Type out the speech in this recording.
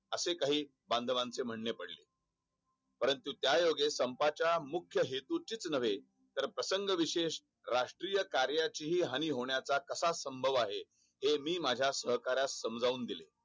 असे काही बांदवचे म्हणणे पडले परंतु त्याओगे संपाच्या मुख्य हेतुत चे च नव्हे प्रसंग विशेष राष्टीय कार्याचीही हानी होण्याचा तास संभव आहे हि मी माझा सहकार्यास समजून दिले